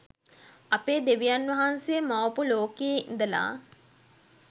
අපේ දෙවියන් වහන්සේ මවපු ලෝකයෙ ඉදලා